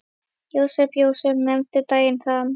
Jósep, Jósep, nefndu daginn þann.